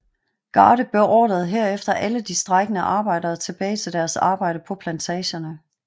Garde beordrede herefter alle de strejkende arbejdere tilbage til deres arbejde på plantagerne